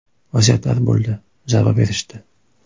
Vaziyatlar bo‘ldi, zarba berishdi.